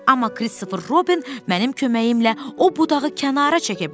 Amma Krister Robin mənim köməyimlə o budağı kənara çəkə bilər.